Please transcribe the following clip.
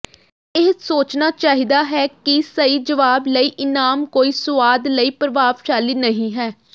ਇਹ ਸੋਚਣਾ ਚਾਹੀਦਾ ਹੈ ਕਿ ਸਹੀ ਜਵਾਬ ਲਈ ਇਨਾਮ ਕੋਈ ਸੁਆਦ ਲਈ ਪ੍ਰਭਾਵਸ਼ਾਲੀ ਨਹੀਂ ਹੈ